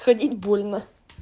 ходить больно